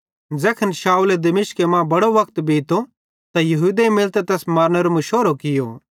ज़ैखन शाऊले दश्मिके मां बड़ो वक्त बीतो त यहूदेईं मिलतां तैस मारनेरो मुशोरो कियो